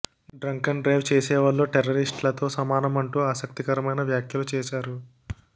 drunk and drive చేసేవాళ్లు terrorist లతో సమానం అంటూ ఆసక్తికరమైన వ్యాఖ్యలు చేసారు